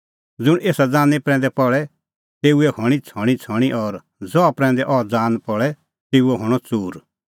ज़ुंण एसा ज़ानीं प्रैंदै पल़े तेऊए हणीं छ़णींछ़णीं और ज़हा प्रैंदै अह ज़ान पल़े तेऊओ हणअ च़ूर